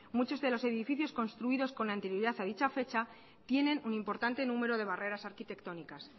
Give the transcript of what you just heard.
muchos de los edificios construidos con anterioridad a dicha fecha tienen un importante número de barreras arquitectónicas